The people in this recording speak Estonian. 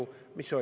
Mis see oli?